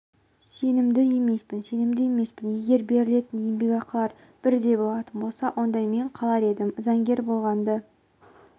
сенімді емеспін сенімді емеспін егер берілетін еңбекақылар бірдей болатын болса онда мен қалар едім заңгер болғанды